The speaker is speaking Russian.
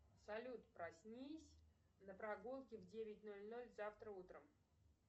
салют проснись на прогулке в девять ноль ноль завтра утром